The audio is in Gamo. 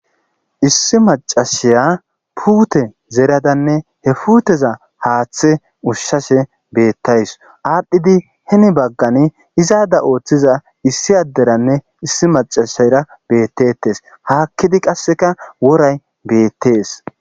Issi macasiya puute zeradanne he puteza haaththe ushshashe beettays. Aadhdhidi heni baggani izaada ooththiza issi adderanne issi maccassera beettetes. Haakkidi qasseka woray beettees.